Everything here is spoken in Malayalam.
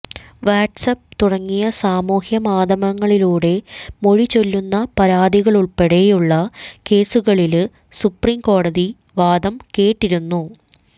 വാട്ട്സ് ആപ്പ് തുടങ്ങിയ സാമൂഹ്യ മാധ്യമങ്ങളിലൂടെ മൊഴി ചൊല്ലുന്ന പരാതികളുള്പ്പടെയുള്ള കേസുകളില് സുപ്രീം കോടതി വാദം കേട്ടിരുന്നു